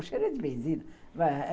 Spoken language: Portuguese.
O cheiro é de benzina.